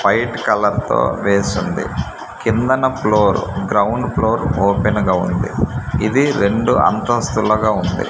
White colour తో వేసుంది కిందన ఫ్లోర్ గ్రౌండ్ ఫ్లోర్ ఓపెన్ గా ఉంది ఇది రెండు అంతస్తులుగా ఉంది.